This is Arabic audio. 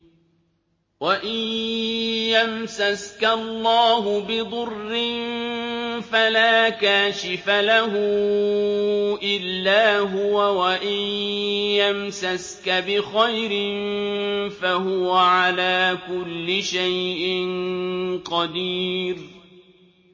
وَإِن يَمْسَسْكَ اللَّهُ بِضُرٍّ فَلَا كَاشِفَ لَهُ إِلَّا هُوَ ۖ وَإِن يَمْسَسْكَ بِخَيْرٍ فَهُوَ عَلَىٰ كُلِّ شَيْءٍ قَدِيرٌ